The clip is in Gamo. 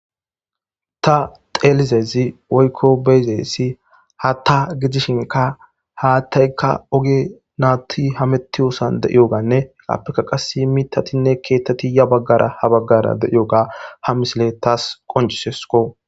ta xeelizezi woykko beyzeessi haatta gidishinka haattaykka oge naatti hametiyosan de7iyoganne heqappeka qasi mitatinne keettati ya baggara ha baggara deiyoga ha misile taas qoncisesko